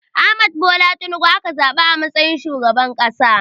Ahmad Bola Tinubu aka zaɓa a matsayin shugaban ƙasa.